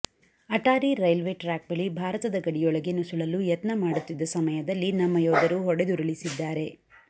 Attari railway track ಬಳಿ ಭಾರತದ ಗಡಿಯೊಳಗೆ ನುಸುಳಲು ಯತ್ನ ಮಾಡುತ್ತಿದ್ದ ಸಮಯದಲ್ಲಿ ನಮ್ಮ ಯೋಧರು ಹೊಡೆದುರುಳಿಸಿದ್ದಾರೆ